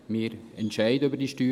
Wir entscheiden über diese.